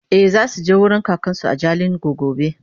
e zasuje wurin kakansu a jalingo gobe